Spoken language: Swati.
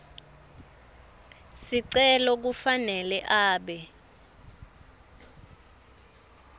sicelo kufanele abe